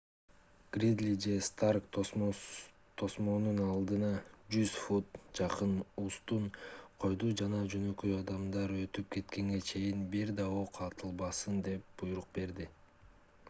гридли же старк тосмонун алдына 100 фут 30 м. жакын устун койду жана жөнөкөй адамдар өтүп кеткенге чейин бир да ок атылбасын деп буйрук берди